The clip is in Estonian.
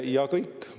Ja kõik!